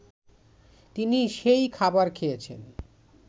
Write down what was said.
তিনি সেই খাবার খেয়েছেন